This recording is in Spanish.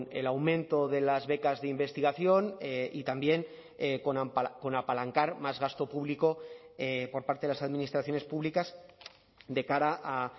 el aumento de las becas de investigación y también con apalancar más gasto público por parte de las administraciones públicas de cara a